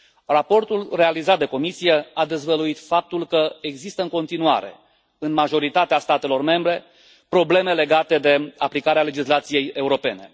Raportul realizat de Comisie a dezvăluit faptul că există în continuare, în majoritatea statelor membre, probleme legate de aplicarea legislației europene.